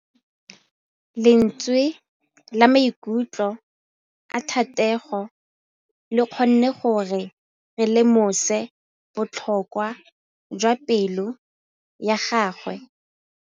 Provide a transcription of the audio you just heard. Lentswe la maikutlo a Thategô le kgonne gore re lemosa botlhoko jwa pelô ya gagwe.